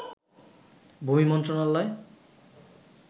ভূমি মন্ত্রণালয়